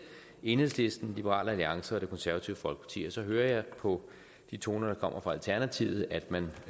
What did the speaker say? enhedslisten liberal alliance og det konservative folkeparti og så hører jeg på de toner der kommer fra alternativet at man